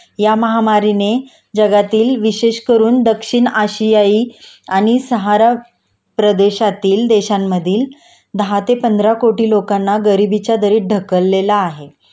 या महामारीने जगातील विशेषकरून दक्षिण आशियायी आणि सहारा प्रदेशातील देशांमधील दहा ते पंधरा कोटी लोकांना गरिबीच्या दरीत ढकलले आहे